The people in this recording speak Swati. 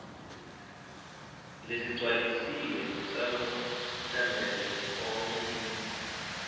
lesigcwalisiwe salotsembele efomini